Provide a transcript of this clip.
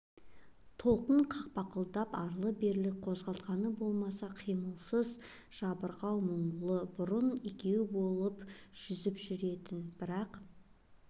толқын қақпақылдап арлы-берлі қозғалтқаны болмаса қимылсыз жабырқау мұңлы бұрын екеуі болып жүзіп жүретін бір ақ